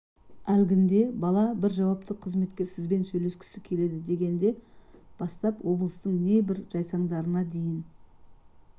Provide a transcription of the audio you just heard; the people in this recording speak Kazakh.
әлгінде бала бір жауапты қызметкер сізбен сөйлескісі келеді дегенде бастап облыстың небір жайсаңдарына дейін